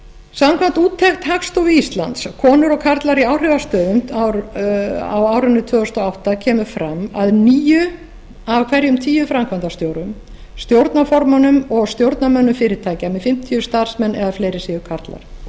samkvæmt úttekt hagstofu íslands konur og karlar í áhrifastöðum á árinu tvö þúsund og átta kemur fram að níu af hverjum tíu framkvæmdastjórum stjórnarformönnum og stjórnarmönnum fyrirtækja með fimmtíu starfsmenn eða fleiri séu karlar